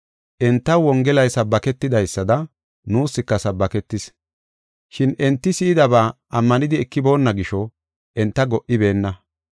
Entaw Wongelay sabbaketidaysada, nuuska sabbaketis. Shin enti si7idaba ammanidi ekiboonna gisho enta go77ibeenna.